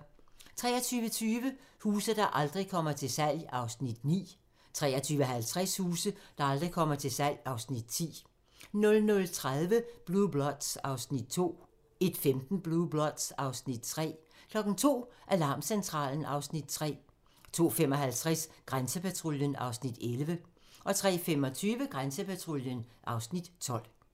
23:20: Huse, der aldrig kommer til salg (Afs. 9) 23:50: Huse, der aldrig kommer til salg (Afs. 10) 00:30: Blue Bloods (Afs. 2) 01:15: Blue Bloods (Afs. 3) 02:00: Alarmcentralen (Afs. 3) 02:55: Grænsepatruljen (Afs. 11) 03:25: Grænsepatruljen (Afs. 12)